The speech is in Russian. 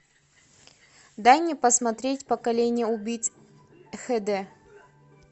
дай мне посмотреть поколение убийц хд